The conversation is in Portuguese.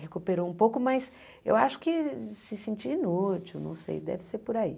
recuperou um pouco, mas eu acho que se sentiu inútil, não sei, deve ser por aí.